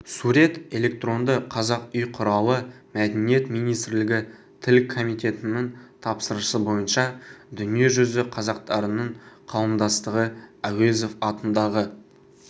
сурет электронды қазақ үй құралы мәдениет министрлігі тіл комитетінің тапсырысы бойынша дүниежүзі қазақтарының қауымдастығы әуезов атындағы